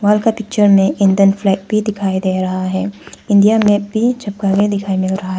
Wall का picture में Indian flag भी दिखाई दे रहा है। इंडिया मैप भी चिपका के दिखाई मिल रहा है।